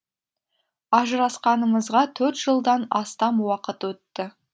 ажырасқанымызға төрт жылдан астам уақыт өтті